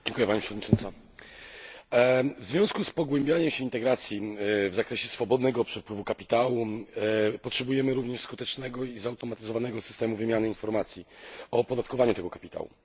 Pani Przewodnicząca! W związku z pogłębianiem się integracji w zakresie swobodnego przepływu kapitału potrzebujemy również skutecznego i zautomatyzowanego systemu wymiany informacji o opodatkowaniu tego kapitału.